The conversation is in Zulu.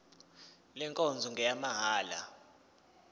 le nkonzo ngeyamahala